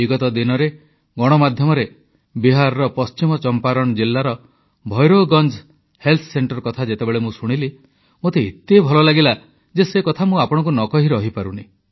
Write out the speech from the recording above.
ବିଗତ ଦିନରେ ଗଣମାଧ୍ୟମରେ ବିହାରର ପଶ୍ଚିମ ଚମ୍ପାରଣ ଜିଲ୍ଲାର ଭୈରୋଗଞ୍ଜ୍ ହେଲ୍ଥ ସେଂଟର କଥା ଯେତେବେଳେ ମୁଁ ଶୁଣିଲି ମୋତେ ଏତେ ଭଲ ଲାଗିଲା ଯେ ସେକଥା ମୁଁ ଆପଣମାନଙ୍କୁ ନ କହି ରହିପାରୁନି